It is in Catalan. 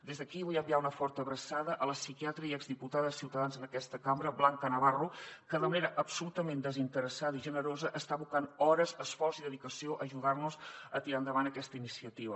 des d’aquí vull enviar una forta abraçada a la psiquiatra i exdiputada de ciuta dans en aquesta cambra blanca navarro que de manera absolutament desinteressada i generosa està abocant hores esforç i dedicació a ajudar nos a tirar endavant aquesta iniciativa